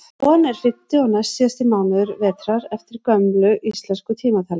góan er fimmti og næstsíðasti mánuður vetrar eftir gömlu íslensku tímatali